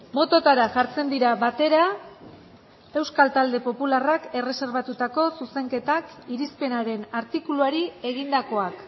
bototara jartzen dira batera euskal talde popularrak erreserbatutako zuzenketak irizpenaren artikuluari egindakoak